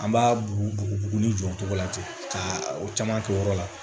An b'a bugu buguri jɔ cogo la ten ka o caman k'o yɔrɔ la